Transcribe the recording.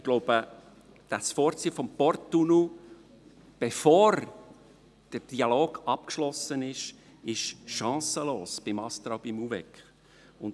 Ich glaube, das Vorziehen des Porttunnels, bevor der Dialog abgeschlossen ist, ist beim ASTRA und beim UVEK chancenlos.